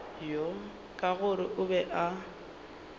ka gore o be a